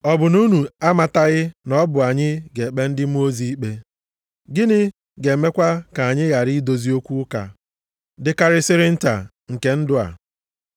Ọ bụ na unu amataghị na ọ bụ anyị ga-ekpe ndị mmụọ ozi ikpe? Gịnị ga-emekwa ka anyị ghara idozi okwu ụka dịkarịsịrị nta nke ndụ a?